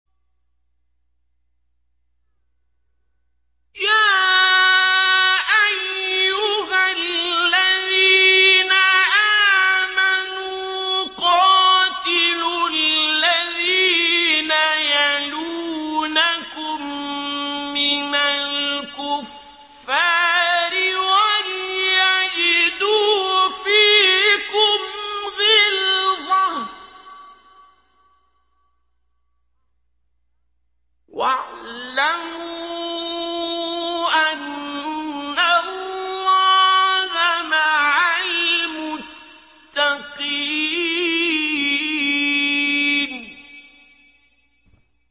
يَا أَيُّهَا الَّذِينَ آمَنُوا قَاتِلُوا الَّذِينَ يَلُونَكُم مِّنَ الْكُفَّارِ وَلْيَجِدُوا فِيكُمْ غِلْظَةً ۚ وَاعْلَمُوا أَنَّ اللَّهَ مَعَ الْمُتَّقِينَ